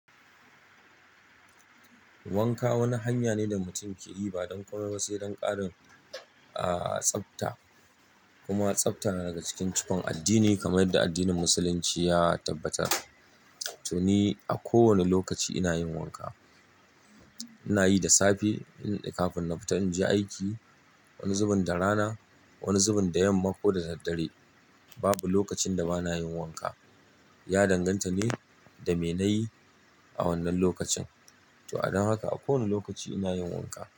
Wanka wani hanya ne da mutum ke yi ba don komai ba sai don ƙarin, aa, tsafta. Kuma tsafta na daga cikin cikon addini kamar yadda addinin Musulunci ya tabbatar. To ni a kowane lokaci ina yin wanka. Ina yi da safe in ƙafin na fita in je aiki, wani zubin da rana, wani zubin da yamma ko da daddare. Babu lokacin da ba na yin wanka. Ya danganta ne da me na yi a wannan lokacin. To, adon haka a kowanne lokaci ina yin wanka.